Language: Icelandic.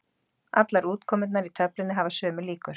Allar útkomurnar í töflunni hafa sömu líkur.